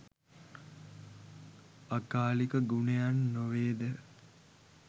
අකාලික ගුණයන් නො වේද?